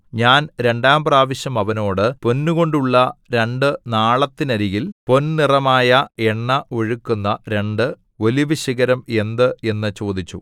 ഞാൻ രണ്ടാം പ്രാവശ്യം അവനോട് പൊന്നുകൊണ്ടുള്ള രണ്ടു നാളത്തിനരികിൽ പൊൻനിറമായ എണ്ണ ഒഴുക്കുന്ന രണ്ട് ഒലിവുശിഖരം എന്ത് എന്നു ചോദിച്ചു